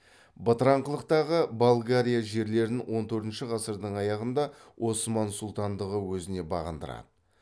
бытыраңқылықтағы болгарияжерлерін он төртінші ғасырдың аяғында осман сұлтандығы өзіне бағындырады